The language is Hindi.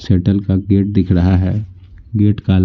सैटल का गेट दिख रहा है गेट का--